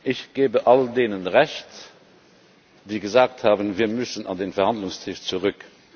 Ich gebe all denen Recht, die gesagt haben Wir müssen an den Verhandlungstisch zurück.